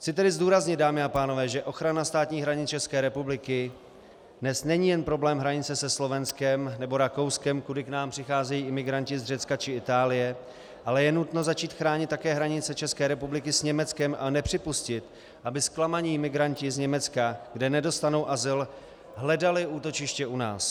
Chci tedy zdůraznit, dámy a pánové, že ochrana státních hranic České republiky dnes není jen problém hranice se Slovenskem nebo Rakouskem, kudy k nám přicházejí imigranti z Řecka či Itálie, ale je nutno začít chránit také hranice České republiky s Německem a nepřipustit, aby zklamaní migranti z Německá, kde nedostanou azyl, hledali útočiště u nás.